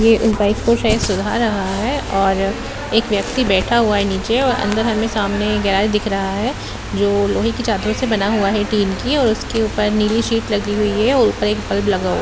ये बाइक को शायद सुधर रहा है और एक व्यक्ति बैठा हुआ है नीचे और अंदर हमें सामने गैरेज दिख रहा है जो लोहे की चादरों से बना हुआ है टीन की और उसके ऊपर नीली शीट लगी हुई है और ऊपर एक बल्ब लगा --